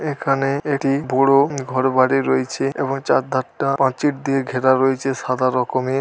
এখানে এটি বড় ঘর বাড়ি রয়েছে এবং চার ধারটা প্রাচীর দিয়ে ঘেরা রয়েছে সাদা রকমের ।